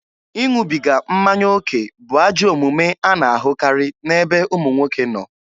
Ịṅụbiga mmanya oke bụ ajọ omume a na-ahụkarị n'ebe ụmụ nwoke nọ.